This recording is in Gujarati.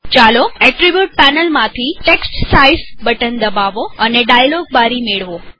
ચાલો એટ્રીબુટ પેનલ માંથી ટેક્સ્ટ સાઈઝ બટન દબાવો અને ડાયલોગ બારી મેળવો